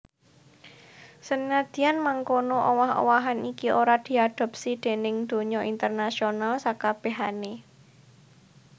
Senadyan mangkono owah owahan iki ora diadopsi déning donya internasional sakabèhané